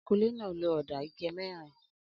Akunlé náà lo ọ̀dà ike mẹ́rin?